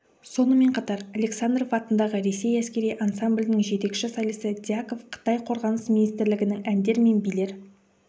сонымен қатар александров атындағы ресей әскері ансамблінің жетекші солисі дьяков қытай қорғаныс министрлігінің әндер мен билер